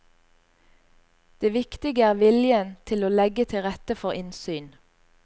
Det viktige er viljen til å legge til rette for innsyn.